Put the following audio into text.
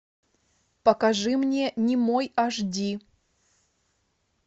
покажи мне немой аш ди